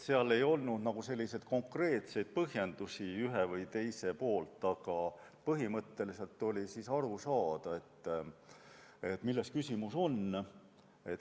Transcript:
Seal ei olnud konkreetseid põhjendusi, aga põhimõtteliselt oli aru saada, milles on küsimus.